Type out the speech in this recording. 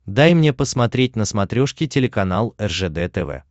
дай мне посмотреть на смотрешке телеканал ржд тв